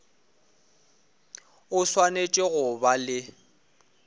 o swanetše go ba le